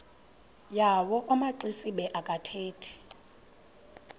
yawo amaxesibe akathethi